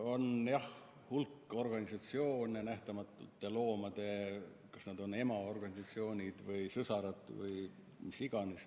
On jah hulk sellised organisatsioone nagu Nähtamatud Loomad – kas nad on emaorganisatsioonid või sõsarad või mis iganes.